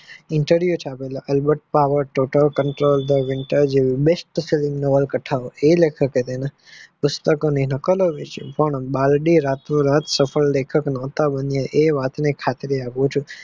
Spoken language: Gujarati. Interview છાપેલા ઉંનવત total control વિતર જેવું best નવલ કથાઓ આ વખતે તેને પુસ્તકોની નકલો વેહચી રાતો રાત સફળ લેખક ના હતા બનિયા આ વાત ની ખાતરી આપું છું.